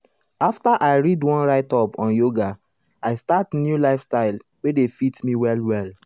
after i read one write-up on yoga i start new style wey dey fit me well well.